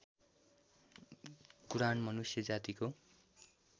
कुरान मनुष्य जातिको